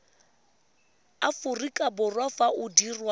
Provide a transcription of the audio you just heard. aforika borwa fa o dirwa